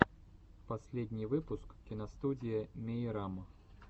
последний выпуск киностудия мейрам